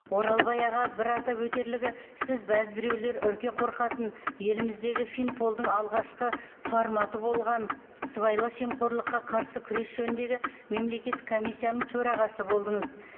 оралбай аға бір атап өтерлігі сіз бәзбіреулер үрке қорқатын еліміздегі финполдың алғашқы форматы болған сыбайлас жемқорлыққа қарсы күрес жөніндегі мемлекеттік комиссияның төрағасы болдыңыз